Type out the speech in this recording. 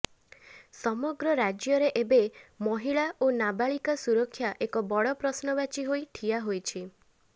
ସମଗ୍ର ରାଜ୍ୟରେ ଏବେ ମହିଳା ଓ ନାବାଳିକା ସୁରକ୍ଷା ଏକ ବଡ଼ ପ୍ରଶ୍ନବାଚୀ ହୋଇ ଠିଆ ହୋଇଛି